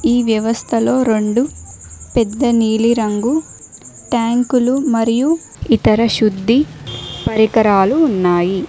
ఈ వ్యవస్థలో రెండు పెద్ద నీలిరంగు ట్యాంకులు మరియు ఇతర శుద్ధి పరికరాలు ఉన్నాయి.